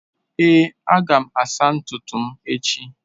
Èé, aga m asa ntutu m echi.